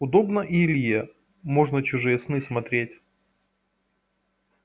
удобно и илье можно чужие сны смотреть